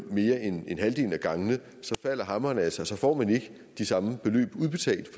mere end halvdelen af gangene falder hammeren altså og så får man ikke de samme beløb udbetalt